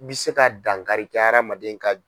bi se ka dankari kɛ hadamaden ka